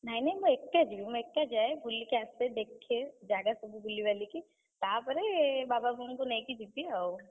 ନାଇଁ ନାଇଁ ମୁଁ ଏକା ଯିବି। ମୁଁ ଏକା ଯାଏ ବୁଲିକି ଆସେ ଦେଖେ ଜାଗା ସବୁ ବୁଲିବାଲିକି, ତାପରେ ବାବା, ବୋଉଙ୍କୁ ନେଇକି ଯିବି ଆଉ।